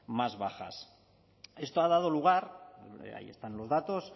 más bajas esto ha dado lugar ahí están los datos